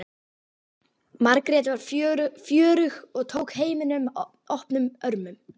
Margrét var fjörug og tók heiminum opnum örmum.